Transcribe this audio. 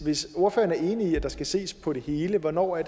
hvis ordføreren er enig i at der skal ses på det hele hvornår